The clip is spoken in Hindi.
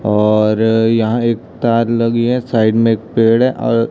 और यहां एक तार लगी है साइड में एक पेड़ है और--